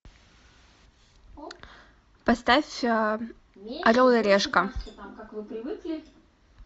поставь орел и решка